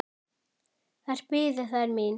Þar biðu þær mín.